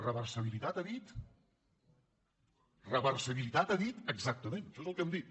reversibilitat ha dit re·versibilitat ha dit exactament això és el que hem dit